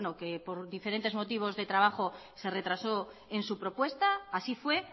que por diferentes motivos de trabajo se retrasó en su propuesta así fue